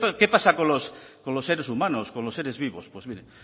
qué pasa con los seres humanos con los seres vivos pues miren